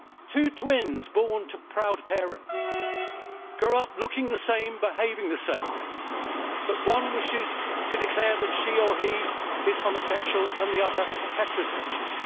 Two twins born to proud parents grow up looking the same, behaving the same, but one wishes to declare that she or he is homosexual and the other heterosexual.